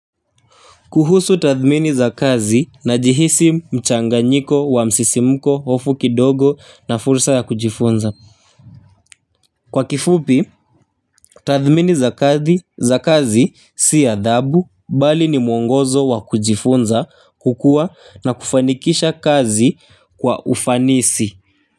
Kuhusu tathmini za kazi najihisi mchanganyiko wa msisimuko hofu kidogo na fursa ya kujifunza. Kwa kifupi, tathmini za kazi si adhabu bali ni mwongozo wa kujifunza kukua na kufanikisha kazi kwa ufanisi.